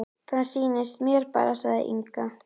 Það sýnist mér bara, sagði Inga.